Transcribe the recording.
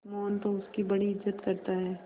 मोहन तो उसकी बड़ी इज्जत करता है